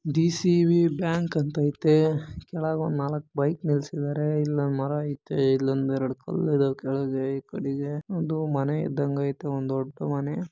DCB bank ಅಂತ ಇತೆ ಕೆಳಗಡೆ ಒಂದ್ ನಾಲಕ್ ಬೈಕ್ ನಿಲ್ಸಿದಾರೆ ಇಲ್ಲೊಂದ ಮರ ಇತೆ ಎರಡು ಕಲ್ಲು ಅದವೇ ಕೇಳಿಗೆ ಒಂದು ಮನೆ ಇದ್ದಂಗ ಇತೆ ಒಂದ್ ದೊಡ್ಡಮನೆ